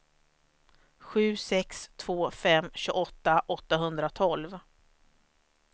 sju sex två fem tjugoåtta åttahundratolv